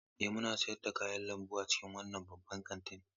Ee, muna sayar da kayan lambu a cikin wannan babban kantin.